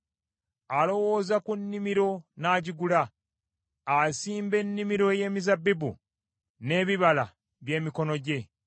Alowooza ku nnimiro n’agigula; asimba ennimiro ey’emizabbibu n’ebibala by’emikono gye.